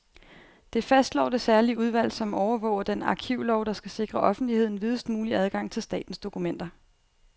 Det fastslår det særlige udvalg, som overvåger den arkivlov, der skal sikre offentligheden videst mulig adgang til statens dokumenter.